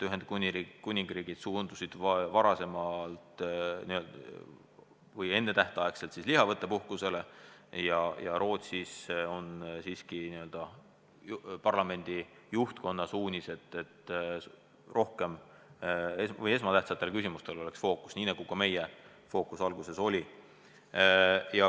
Ühendkuningriik suundus ennetähtaegselt lihavõttepuhkusele ja Rootsis on antud parlamendi juhtkonna suunised, et fookus oleks esmatähtsatel küsimustel, nii nagu ka meie fookus alguses oli.